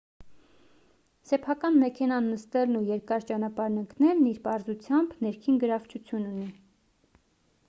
սեփական մեքենան նստելն ու երկար ճանապարհ ընկնելն իր պարզությամբ ներքին գրավչություն ունի